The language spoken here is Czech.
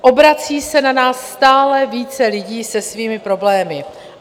Obrací se na nás stále více lidí se svými problémy.